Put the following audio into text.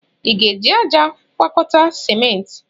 Ị ga-eji ájá agwakọta simenti?